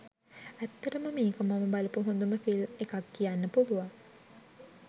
ඇත්තටම මේක මම බලපු හොඳම ෆිල්ම් එකක් කියන්න පුලුවන්.